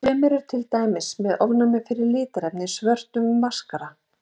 Sumir eru til dæmis með ofnæmi fyrir litarefni í svörtum maskara.